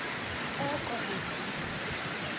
oko be ndise